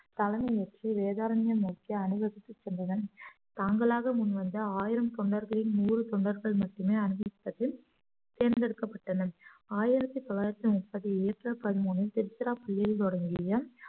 தலைமை ஏற்றி வேதாரண்யம் நோக்கி அணிவகுத்துச் சென்றனர் தாங்களாக முன்வந்த ஆயிரம் தொண்டர்களில் நூறு தொண்டர்கள் மட்டுமே அனுமதிப்பதில் தேர்ந்தெடுக்கப்பட்டனர் ஆயிரத்தி தொள்ளாயிரத்தி முப்பது ஏப்ரல் பதிமூன்றில் திருச்சிராப்பள்ளியில் தொடங்கிய